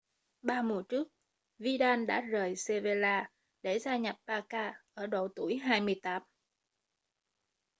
ba mùa trước vidal đã rời sevilla để gia nhập barca ở độ tuổi 28